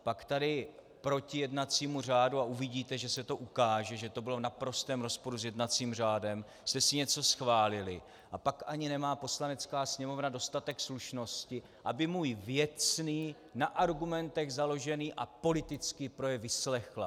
Pak tady proti jednacímu řádu, a uvidíte, že se to ukáže, že to bylo v naprostém rozporu s jednacím řádem, jste si něco schválili, a pak ani nemá Poslanecká sněmovna dostatek slušnosti, aby můj věcný, na argumentech založený a politický projev vyslechla.